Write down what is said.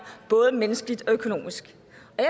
både menneskeligt og økonomisk